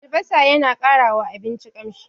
Albasa yana ƙarawa abinci ƙamshi.